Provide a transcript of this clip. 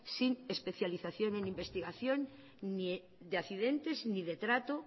sin especialización en investigación de accidentes ni de trato